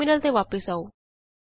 terminal ਤੇ ਵਾਪਸ ਆਉ